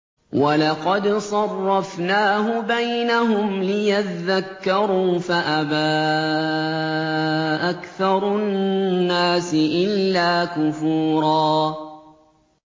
وَلَقَدْ صَرَّفْنَاهُ بَيْنَهُمْ لِيَذَّكَّرُوا فَأَبَىٰ أَكْثَرُ النَّاسِ إِلَّا كُفُورًا